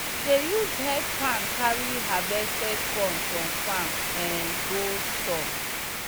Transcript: we dey use head pan carry harvested corn from farm um go store.